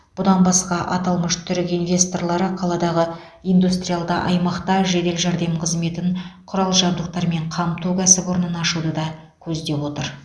бұдан басқа аталмыш түрік инвесторлары қаладағы индустриалды аймақта жедел жәрдем қызметін құрал жабдықтармен қамту кәсіпорнын ашуды да көздеп отыр